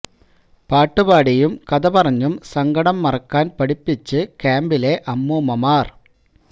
പാട്ട് പാടിയും കഥ പറഞ്ഞും സങ്കടം മറക്കാൻ പഠിപ്പിച്ച് ക്യാമ്പിലെ അമ്മൂമ്മമാര്